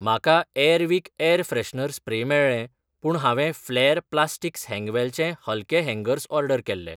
म्हाका Airwick air freshener spray मेळ्ळें पूण हांवें फ्लॅर प्लास्टिक्स हँगवेलचे हलके हँगर्स ऑर्डर केल्लें.